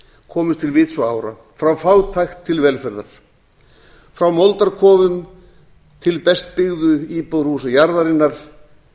komust til vits og ára frá fátækt til velferðar frá moldarkofum til best byggðu íbúðarhúsa jarðarinnar